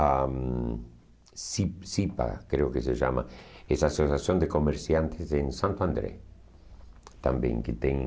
a CI CIPA, creio que se chama, és a Associação de Comerciantes em Santo André.